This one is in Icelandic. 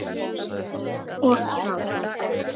Og gráta.